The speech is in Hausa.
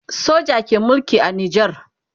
soja ke Mulki a nijar